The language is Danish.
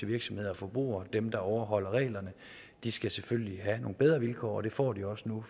virksomheder og forbrugere dem der overholder reglerne skal selvfølgelig have bedre vilkår det får de også nu